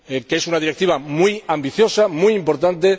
Es una Directiva muy ambiciosa, muy importante.